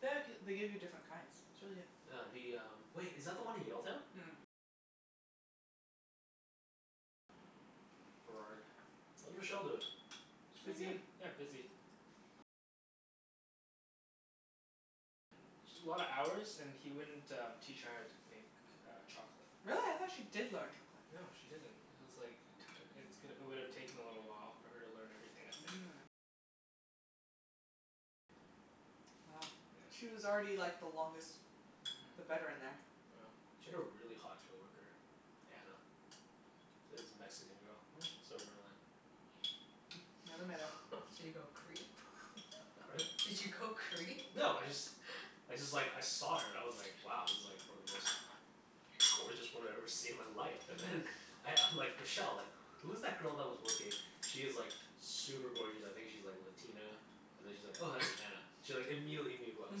The g- they give you different kinds. It's really good. Yeah, the um, wait, is that the one in Yaletown? Burrard. How's Rochelle doin'? She's doing Busy. good. Yeah, busy. Sh- a lot of hours and he wouldn't um teach her how to make uh chocolate. Really? I thought she did learn chocolate. No, she didn't. It was like it took, it's g- it would've taken a little while for her to learn everything, I think. Yeah. Mhm. Yeah. She had a really hot coworker. Anna. It was a Mexican girl. I Mm. still remember that. Never met her. Did you go creep? Pardon? Did you go creep? No, I just I just like, I saw her. I was like, wow, this is like one of the most gorgeous women I've ever seen in my life. And then I I'm like, "Rochelle, like, who is that girl that was working?" "She is like super gorgeous. I think she's like Latina?" And then she's like, "Oh, that's Anna." She like immediately knew who I was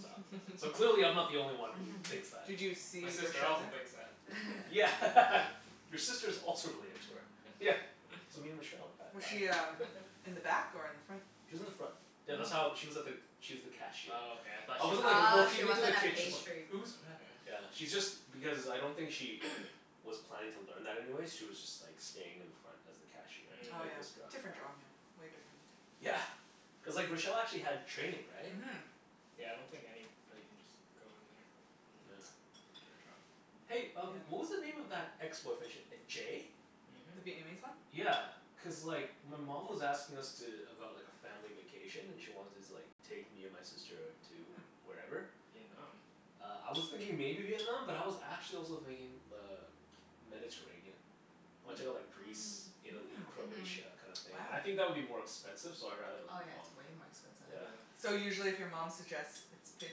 talking about. So clearly I'm not the only one who thinks that. Did you My see sister Rochelle also there? thinks that. Yeah. Your sister's also really into her. Yeah. So me and Rochelle Was have she had um in the back or in the front? She was in the front. Oh. Yeah, Oh, that's how, Mm. she was at the, she was the cashier. okay, I thought I she wasn't like worked at Mm. Oh, a she looking into the wasn't a kitchen like Oh, pastry yeah "Who's back" yeah. Yeah, she's just, because I don't think she was planning to learn that anyway. She was just like staying in the front as the cashier. Oh Like yeah. Mm. Different job, yeah. Way different. Yeah. Cuz like Rochelle actually had training, right? Mhm. Yeah, I don't think anybody can just go in there. And Yeah. yeah, get a job. Hey um Yeah. what was the name of that ex-boyfriend? Sh- uh Jay? The Mhm. Vietnamese one? Yeah, cuz like my mom was asking us to, about like a family vacation and she wanted to like take me and my sister to Mm. wherever. Vietnam? Uh, I was thinking maybe Vietnam, but I was actually also thinking uh Mediterranean. I wanna check out Hmm. like Greece, Mm. Italy, Mm. Mhm. Croatia, kinda thing. And Wow. I think that would be more expensive, so I'd rather go Oh, with yeah, it's mom. way more expensive. Yeah. Yeah. So usually if your mom suggests, it's paid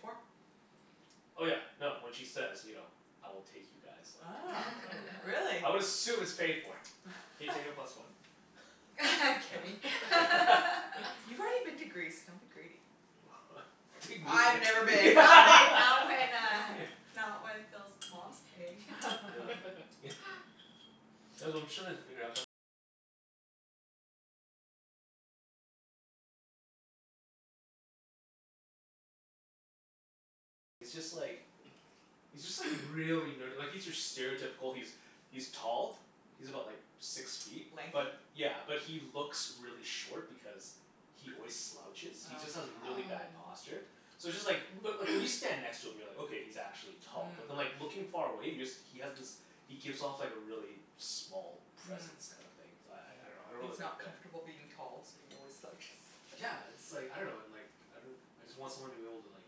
for? Oh yeah, no, when she says, you know "I will take you guys," like, Ah, yeah, really? I would assume it's paid for. Can you take a plus one? Kenny. You've already been to Greece. Don't be greedy. Take me. I've never I been. went not when uh not when Phil's mom's paying. Yeah. Yeah. he's just like really nerdy. Like he's your stereotypical, he's he's tall. He's about like six feet. Lanky? But yeah, but he looks really short because he always slouches. He just Oh. has Mm. really bad Oh. posture. So it's just like, but like when you stand next to him you're like, "Okay, he's actually tall." But then Mm. like looking far away, he just, he has this he gives off like a really small Mm. presence kinda thing. So I I dunno, Mm. I don't He's really like not that. comfortable being tall so he always slouches. Yeah, it's like, I dunno and like, I I just want someone to be able to like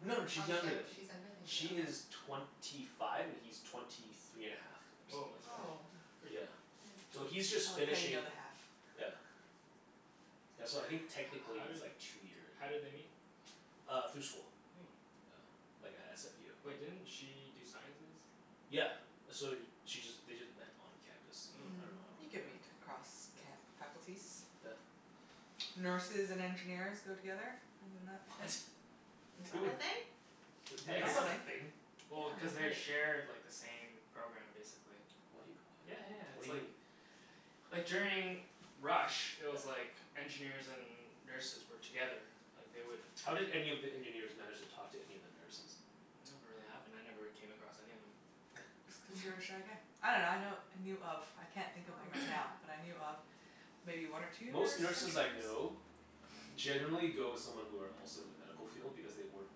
No no Oh, sh- she's younger than me. she's younger than She you. is Oh. twenty five and he's twenty three and a half, or Woah, something that's like that. Oh. pretty pretty Yeah. young. So That he's is nice. I just like how you finishing, know the half. yeah Yeah, so I think How technically did he's like two year how did they meet? Uh through school. Oh. Yeah, like at SFU. Wait, didn't she do sciences? Yeah. So she just, they just met on campus. I Oh. dunno Mm. how, You can yeah. meet across ca- Mm. faculties. Yeah. Nurses and engineers go together. Isn't that the What? thing? Is Who that woul- a thing? Yeah, cuz that's not a Apparently, thing. yeah. well, cuz I've they heard. share like the same program, basically. What do you, Yeah yeah, what? What it's do you like mean? like during rush, it Yeah. was like engineers and nurses were together. Like, they would How did any of the engineers manage to talk to any of the nurses? It never really happened. I never really came across any of them. Cuz you're a shy guy. I dunno, I know, I knew of I can't think Oh, of I him right didn't know now, that. but I knew of maybe one or two Most nurse nurses I engineers? know generally go with someone who are also in the medical field because they work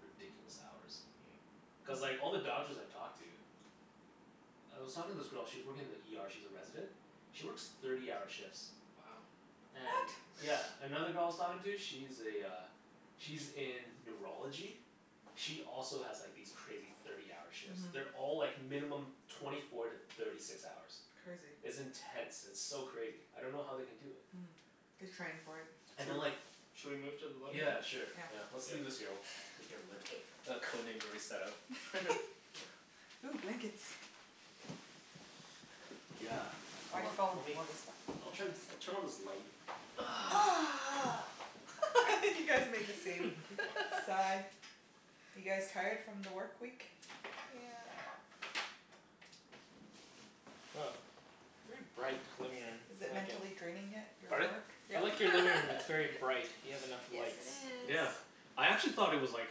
ridiculous hours. Mm. Cuz like Mm. all the doctors I've talked to I was talking to this girl, she was working in the ER, she's a resident she works thirty-hour shifts. Wow. What? And yeah. Another girl I was talking to, she's a uh she's in neurology. She also has like these crazy thirty-hour shifts. Mhm. They're all like minimum twenty four to thirty six hours. Crazy. It's intense. It's so crazy. I don't know how they can do it. Mm. They train for it. And then Sho- like should we move to the living Yeah, room? sure. Yeah. Yeah. Let's leave this here. We'll take care of it later. Okay. The Code Name's already set out. Ooh, blankets. Yeah. Hold Why'd on. you follow me? You Lemme, want this one I'll turn, I'll turn on this light. Corner. You guys make the same sigh. You guys tired from the work week? Yeah. Woah, very bright living room. Is it I like it. mentally draining yet? Your Pardon? work? I Yep. like your living room. It's very bright. You have enough Yes, lights. it is. Yeah. I actually thought it was like,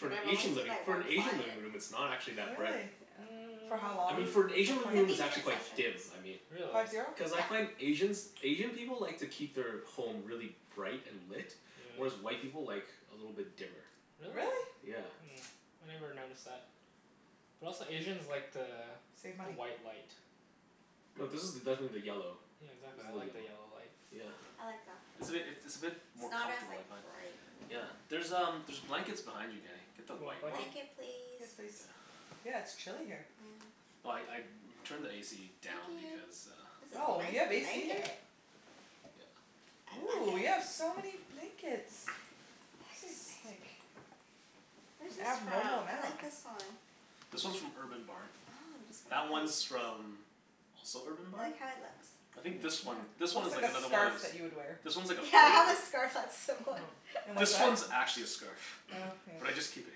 for And an I've only Asian seen living, like for an one Asian living client. room it's not actually that bright. Really? Yeah. For how I long mean, for an is the Asian living room Fifty it's actually minute quite sessions. dim, I mean. Really? Five zero? Cuz I Yeah. find Asians, Asian people like to keep their home really bright and lit. Whereas Yeah. white people like a little bit dimmer. Really? Really? Yeah. Hmm. I never noticed that. But also Asians like the Save the money. white light. No, this is definitely the yellow. Yeah, exactly. This is I the like the yellow. yellow light. Yeah. I like that. It's a bit, it it's a bit It's more not as comfortable, like I find. bright. Yeah. There's um, there's blankets behind you Kenny. Get the Do you want white one. blanket? Blanket please? Yes, please. Yeah. Yeah, it's chilly here. Yeah. Well I I turned the AC Thank down you. because uh This is Oh, nice you have AC here? blanket. Yeah. I like Ooh, you have it. so many blankets. This is like Where's this Yeah. abnormal from? I amount. like this one. This one's from Urban Barn. Oh, I'm just That gonna like one's from also Urban I Barn? like how it looks. I think Yeah, Mmm. this one, this one looks is like like a another one of scarf those that you would wear. This one's like a Yeah, I have foldover. a scarf that's similar. And what's This that? one's actually a scarf. Oh, yeah. But I just keep it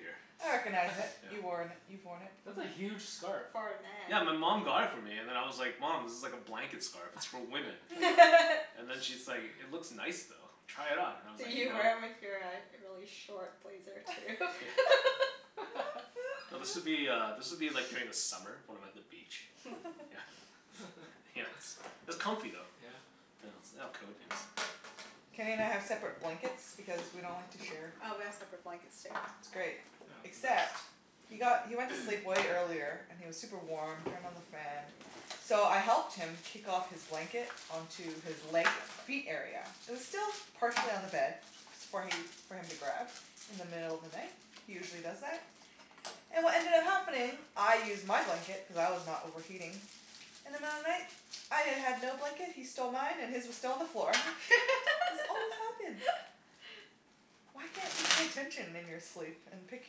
here. I recognize it. Yeah. You worn, you've worn it That's before. a huge scarf. For a man. Yeah, my mom got it for me and then I was like, "Mom, this is like a blanket scarf. It's for women." And then she's like, "It looks nice though. Try it on." And I was like, Did you "No." wear it with your uh really short blazer, too? Yeah. No, this would be uh, this would be like during the summer when I'm at the beach. Yeah. Yeah. It's it's comfy though. Yeah? Yeah. Let's lay out Code Names. Kenny and I have separate blankets because we don't like to share. Oh, we have separate blankets, too. It's great, Yeah, it's the best. except he got, he went to sleep way earlier, and he was super warm. Turned on the fan. So I helped him kick off his blanket onto his leg, feet area. It was still partially on the bed. S- for he, for him to grab, in the middle of the night. He usually does that. And what ended up happening, I used my blanket cuz I was not overheating. In the middle of the night, I y- had no blanket, he stole mine, and his was still on the floor. This always happens. Why can't you pay attention in your sleep and pick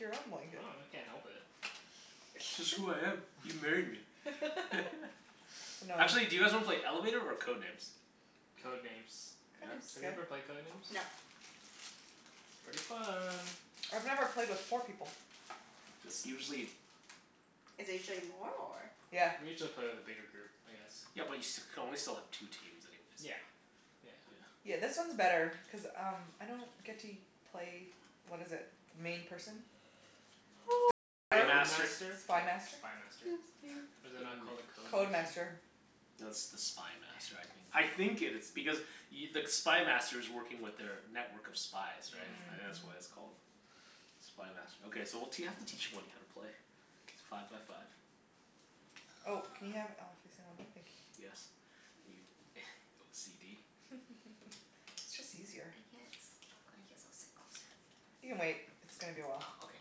your own I blanket? dunno. I can't help it. It's just who I am. You married me. I know. Actually, do you guys wanna play Elevator or Code Names? Code Names. Code Yeah? Names is Have you good. ever played Code Names? No. It's pretty fun. I've never played with four people. It's usually Is it usually more, or? Yeah. We usually play with a bigger group, I guess. Yeah but you st- you can only still have two teams anyways. Yeah. Yeah. Yeah. Yeah, this one's better cuz um I don't get to u- play, what is it? The main person? The The Spy Coder? Code Master? Master? Oh, Spy Master? Spy Master. 'Scuse me. Is it not called a Code Code Master? Master. No, it's the Spy Master I think. Damn. I think it is. Because y- the Spy Master's working with their network of spies, right? Mm, I think Mm. that's why mhm. it's called Spy Master. Okay, so we'll t- you'll have to teach Wenny how to play. Five by five. Oh, can you have it all facing one way? Thank you. Yes. Are you OCD? It's just easier. I can't s- I guess I'll sit closer. You can wait. It's gonna be a while. Oh, okay.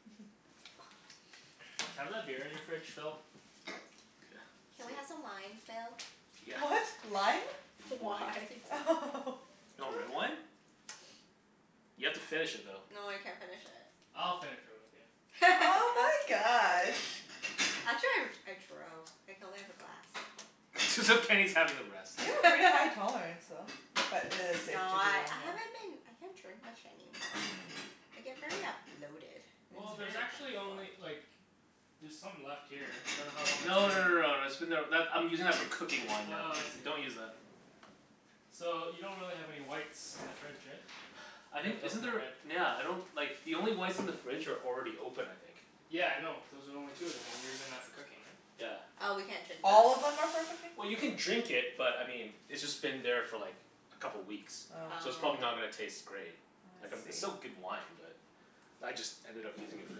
Can I have that beer in your fridge, Phil? Yeah. Can we Sweet. have some wine, Phil? Yeah. What? Lime? Wine. Wine. Do you want red wine? You have to finish it though. No, I can't finish it. I'll finish it with you. Oh my gosh. Actually I r- I drove. I can only have a glass. As if Kenny's having the rest. You have a pretty high tolerance, though. But it is safe No, to do I one I haven't been I can't drink much anymore. Mm. I get very a bloated, and Well, it's Mm. there's very actually uncomfortable. only like there's some left here. I dunno how long it's No been no no here. no, that's been there, that, I'm using that for cooking wine now. Oh, I see. Don't use that. So, you don't really have any whites in the fridge, right? I You'd think, have to isn't open a there, red. nyeah, I don't like the only whites in the fridge are already open I think. Yeah, I know, those are the only two of them and you're using that for cooking, right? Yeah. Oh, we can't drink those? All of them are for cooking? Well you can drink it, but I mean it's just been there for like a couple weeks Oh. so it's probably Oh. not gonna taste great. Oh Like um I it's still see. good wine but I just ended up using it for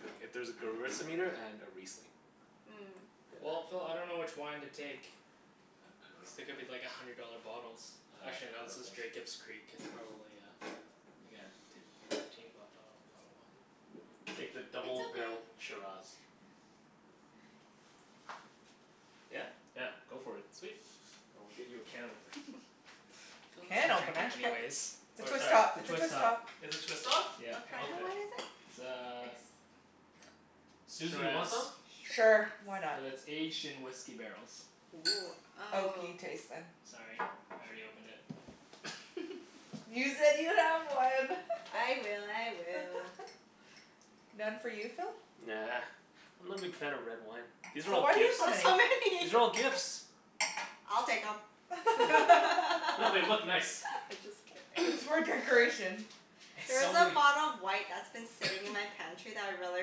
cooking. If there's a gewürztraminer and a riesling. Hmm. Well, Yeah. Phil, I dunno which wine to take. Cuz Uh they I could be like a dunno hundred dollar bottles. Uh Actually I no, don't this is think s- Jacob's Creek. It's probably uh like a t- fifteen b- dollar bottle of wine? Take the It's double okay. barrel Shiraz. Yeah? Yeah, go for it. Sweet. I'll get you a can opener. Phil Can doesn't drink A opener? it can op- anyways. It's a Or twist sorry top. It's a Twist twist top. top. Is this twist off? Yeah. What Then kinda okay. wine is it? It's a Ex- Susie, you want shiraz. some? Sure. Why Shiraz. not? But it's aged in whisky barrels. Woo. Oh. Oaky taste, then. Sorry, I already opened it. You said you have one. I will. I will. None for you, Phil? Nah. I'm not a big fan of red wine. These are So all why do you have gifts. so many? So many. These are all gifts. I'll take 'em. I'm No, they look just nice. kidding. It's for decoration. There It's is a only bottle of white that's been sitting in my pantry that I really,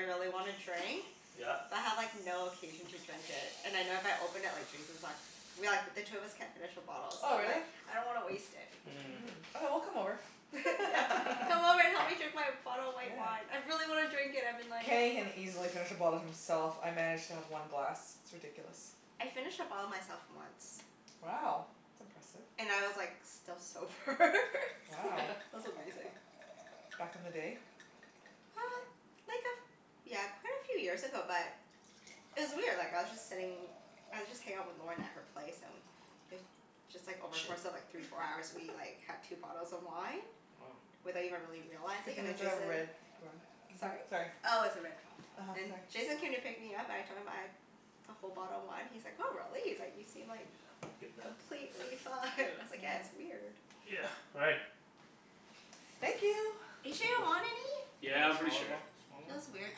really wanna drink. Yeah. But I have like no occasion to drink it. And I know if I open it, like Jason's like we like, but the two of us can't finish a bottle so Oh, really? like I don't wanna waste it. Mm. Mmm. Okay, we'll come over. Yeah. Come over and help me drink my bottle of white wine. Yeah. I really wanna drink it. I've been like, Kenny can oh easily finish a bottle himself. I manage to have one glass. It's ridiculous. I finished a bottle myself, once. Wow. That's impressive. And I was like still sober Wow. It was amazing. Back in the day? Uh, like a f- yeah, quite a few years ago but it was weird. Like, I was just sitting I was just hangin' out with Lorna at her place, and it just like, over course of like three, four hours we like had two bottles of wine Woah. without even really Good realizing, thing and then it's a Jason red rug. Mhm. Sorry? Sorry. Oh, it's a red. uh-huh. And Sorry. Jason came to pick me up. I told him, I'd a whole bottle of wine, he's like, "Oh, really?" He's like "You seem Yeah, like I get that. completely fine." I was like, "Yeah, Yeah. it's weird." Yeah, all right. Thank you. Are you sure you don't want any? Yeah, Wanna I'm pretty smaller o- sure. smaller one? Feels weird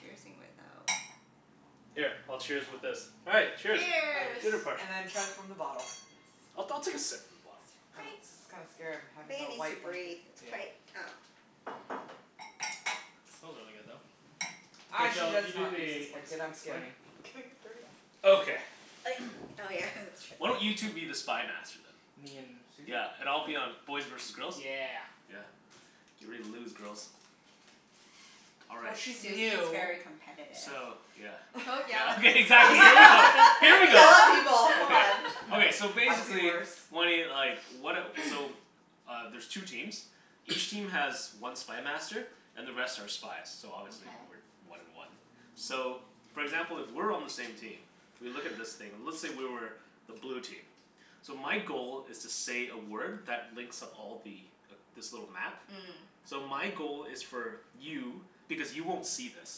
cheersing without Here, I'll cheers with this. All right. Cheers. Cheers. Dinner Cheers. party. And then chug from the bottle, yes. I'll I'll take a sip from the bottle. Oh, Wait. this is kinda scary. I'm I having think it a needs to white breathe. blanket. It's Yeah. quite, um Smells really good, though. Mhm. K I should Phil, just you do not use this the ex- blanket. I'm scared explaining. of getting it dirty. Okay. Like, oh yeah. Why don't That's you true. two be the Spy Master, then? Me and Susie? Yeah, and I'll be on, K. boys versus girls? Yeah. Yeah. Get ready to lose, girls. All Well, right. she's Susie's new. very competitive. So, yeah Don't yell Yeah at me, Susie. exactly. Here we I go. You Here we never yell go. yell at at people. people, come Come Okay, on. on. okay. So I've seen basically worse. Wenny, like, what a, so Uh, there's two teams. Each team has one Spy Master. And the rest are spies, so obviously we're Okay. one and one. So, for example, if we're on the same team we look at this thing and let's say we were the blue team. So my goal is to say a word that links up all the, this little map. Mm. So my goal is for you, because you won't see this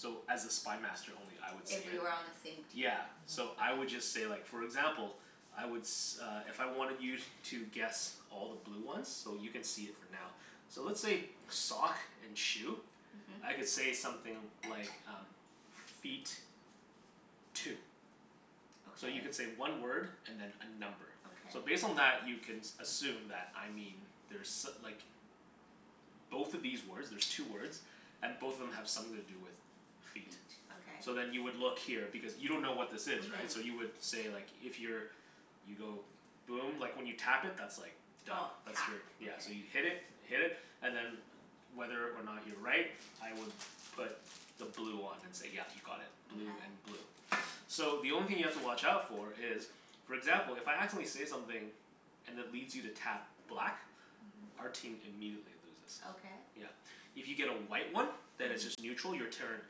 so as a Spy Master only I would If see we it. were on the same team? Yeah. So Mhm. I would Okay. just say like, for example I would s- uh if I wanted you to guess all the blue ones So you can see it for now. So let's say sock and shoe. Mhm. I could say something like um Feet. Two. So you can Okay. say one word and then a number. Okay. So based on that you can s- assume that I mean there's so- like Both of these words, there's two words And both of them have something to do with Feet. feet. Okay. So then you would look here because you don't know what this is, right? So you Mhm. would say like, if you're you go boom. Like, when you tap it that's like Done. Oh. That's Tap. your, yeah. Okay. So you hit it. Hit it, and then whether or not you're right I would put the blue on and say yeah, you got it. Blue and Okay. blue. So the only thing you have to watch out for is for example, if I accidentally say something and it leads you to tap black Mhm. our team immediately loses. Okay. Yeah. If you get a white one then it's Mhm. just neutral. Your turn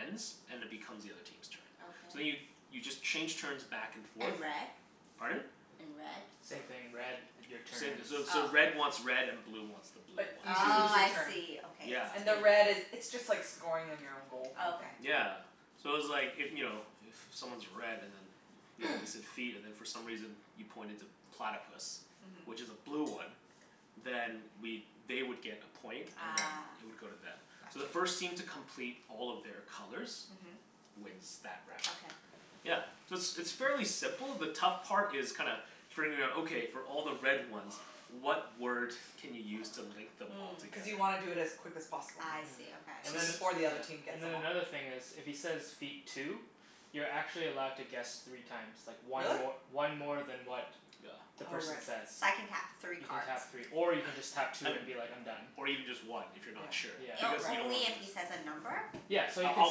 ends and it becomes the other team's turn. So then you, Okay. you just change turns back and forth And red? Pardon? And red? Same thing. Red, your turn Same, ends. so so Oh. red wants red and blue wants the blue But you ones. just lose Oh, your I turn. see. Okay, Yeah. I And the red see. is, it's just like scoring on your own goal, Oh kinda thing. okay. Yeah. So it's like, if, you know, if someone's red and then you know, you said feet and then for some reason you pointed to platypus Mhm. which is a blue one then we'd, they would get a point and then Ah, it would go to them. So the gotcha. first team to complete all of their colors Mhm. wins that round. Okay. Yeah. So it's it's fairly simple. The tough part is kinda figuring out, okay, for all the red ones what word can you use to link them all Mm. Cuz together? you wanna do it as quick as possible. I Mhm. see. And Okay. So then, Before the yeah, other team gets and them then all. another thing is if he says, "Feet. Two." You're actually allowed to guess three times. Like one Really? mor- one more than what Yeah. the Oh, right. person So says. I can tap three You can cards? tap three. Or you can just tap two And, and be like, "I'm done." or even just one if you're Yeah, not sure, Yeah. O- because right. you don't wanna only if he says a number? Yeah. So you can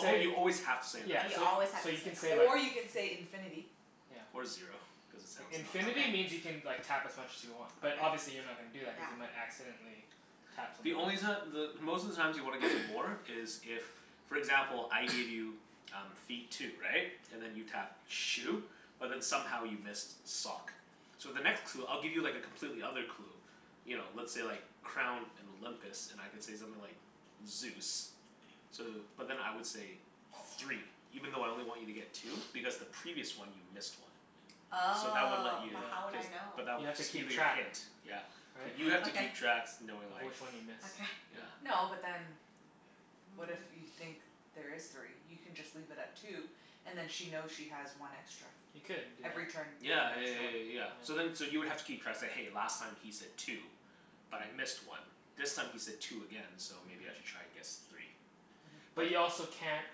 say you always have to say a number. Yeah, Oh, you so always have so to say you a can say number. like Or you can say, "infinity." Yeah. Or zero, cuz it sounds not as Infinity lame. Okay. means you can like tap as much as you want. But Okay. obviously you're not gonna do that cuz Yeah. you might accidentally tap something The else. only reason that the, most of the times you want to get more is if for example, I give you um feet, two. Right? And then you tapped shoe? But then somehow you missed sock. So the next clue, I'll give you like a completely other clue you know, let's say like crown and Olympus and I could say something like Zeus. So, but then I would say three even though I only want you to get two because the previous one you missed one. So that would let Oh, you, Yeah. but how would cuz, I know? but that, You have to that'll keep be your track. hint. Yeah. But Right? you have to Okay. keep tracks knowing Of like which one you miss. Okay. Yeah. Yeah. No, but then what if you think there is three? You can just leave it at two and then she knows she has one extra. You could do Every turn that. you get Yeah yeah an yeah extra yeah one. yeah Yeah. yeah. So then so you would have to keep tracks, say "Hey, last time he said two." "But I missed Mhm. one." "This time he said two again. So maybe I Mhm. should try and guess three." Mhm. But But you also can't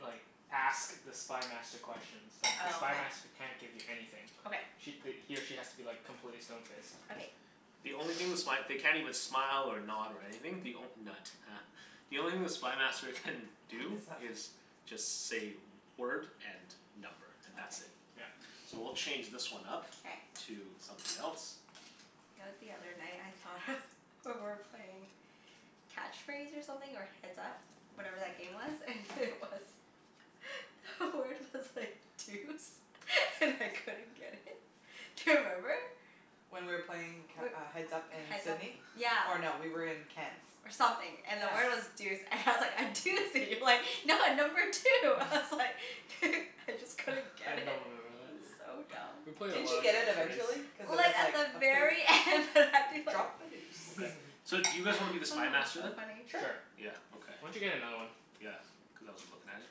like ask the Spy Master questions. It's like the Spy Oh, Master can't give you okay. anything. Okay. Sh- th- he or she has to be like completely stone faced. Okay. The only thing the sp- they can't even smile or nod or anything. The onl- nut, huh. The only thing the Spy Master can What do is that fa- is just say word and number, and that's it. Okay. Yeah. So we'll change this one up K. to something else. You know what the other night I thought of, we were playing Catch Phrase or something, or Heads Up. Whatever that game was. And it was The word was like deuce. And I couldn't get it. Do you remember? When we were playing c- We're, uh Heads Up in Heads Up Sidney. Yeah. Or no, we were in Ken's. or something. And the Yeah. word was deuce. And I was like, "I do see you, like no, number two." I was like I just couldn't I get it. don't remember that. It was so We dumb. played a Didn't lot you of get it Catch Phrase. eventually? Cuz it Well, was it's at like the a pers- very end that I'd be like Drop a deuce. Okay. So do Oh, you guys wanna be the Spy Master so then? funny. Sure. Sure. Yeah, okay. Why don't you get another one? Yeah, cuz I wasn't lookin' at it.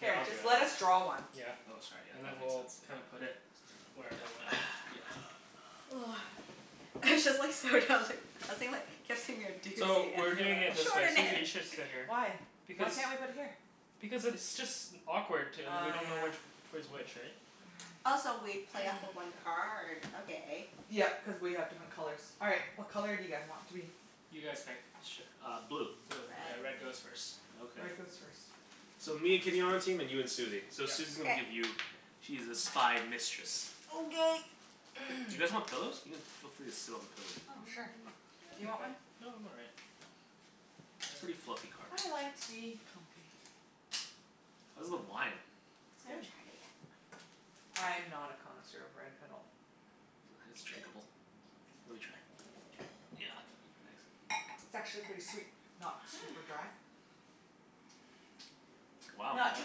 Here, Here, I'll do just it. let us draw one. Yeah. Oh, sorry. Yeah, And then that makes we'll kinda sense. put Yeah. it whatever way. It's just like, so dumb that I was thinking like, kept saying you're a So, doozy, and we're you're doing like, it this way. Susie, "Extraordinary!" you should sit here. Why? Why Because can't we put it here? Because it's just awkward t- we Oh, don't know yeah. which which way's which, right? Also, we play off of one card? Okay. Yep, cuz we have different colors. All right. What color do you guys want to be? You guys pick. Sure, uh blue. Blue. Okay, Red. red goes first. Okay. Red goes first. So, me and Kenny on our team, and you and Susie. So Yep. Susie's gonna K. give you She's the Spy Mistress. Okay. You guys want pillows? You can, feel free to sit on the pillows if you Oh, want. sure. Mm, Do you I'm want okay. one? No, I'm all right. Pretty fluffy carpet. I like to be comfy. How's the wine? It's I good. haven't tried it yet. I'm not a connoisseur of red at all. Sure, it's drinkable. Let me try. Try? Yeah, thanks. It's actually pretty sweet. Not super Hmm. dry. Wow, Not too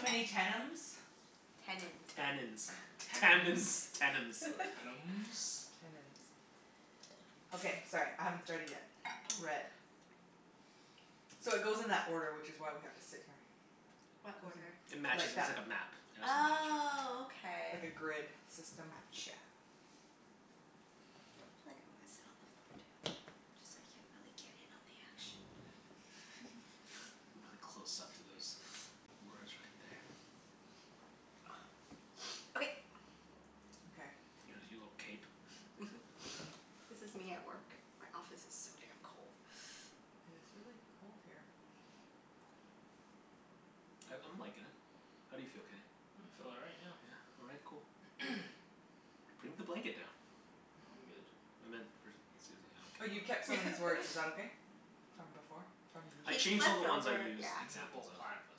many tennums. Tennins. Tannins. Tammins. Tennums? Tennums. Tannums. Tannins. Okay, sorry. I haven't started yet. Red. So, it goes in that order, which is why we have to sit here. What Goes order? It in matches like it, it's that. like a map Oh, okay. Like a grid system. Gotcha. Feel like I'm gonna sit on the floor, too. Just so I can really get in on the action. Really close up to those words right there. Okay. Okay. Look at your little cape. This is me at work. My office is so damn cold. Yeah, it's really cold here. I I'm likin' it. How do you feel, Kenny? I feel all right, yeah. Yeah? All right. Cool. Bring the blanket down. No, I'm good. I meant for Susie. Oh, I don't you care kept about some of these words. Is that okay? From before? From the I He changed all the flipped ones I over, used yeah. N- examples well, of. platypus.